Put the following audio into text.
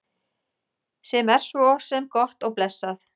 Sem er svo sem gott og blessað.